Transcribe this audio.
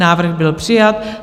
Návrh byl přijat.